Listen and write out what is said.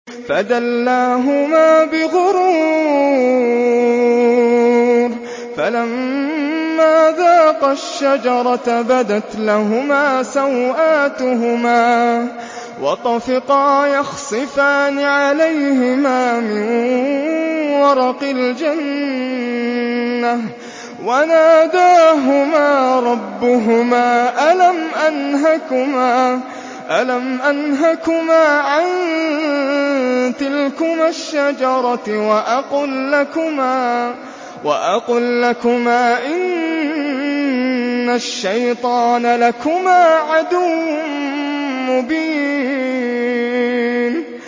فَدَلَّاهُمَا بِغُرُورٍ ۚ فَلَمَّا ذَاقَا الشَّجَرَةَ بَدَتْ لَهُمَا سَوْآتُهُمَا وَطَفِقَا يَخْصِفَانِ عَلَيْهِمَا مِن وَرَقِ الْجَنَّةِ ۖ وَنَادَاهُمَا رَبُّهُمَا أَلَمْ أَنْهَكُمَا عَن تِلْكُمَا الشَّجَرَةِ وَأَقُل لَّكُمَا إِنَّ الشَّيْطَانَ لَكُمَا عَدُوٌّ مُّبِينٌ